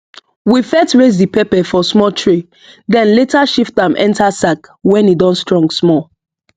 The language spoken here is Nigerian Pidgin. we first raise the pepper for small tray then later shift am enter sack when e don strong small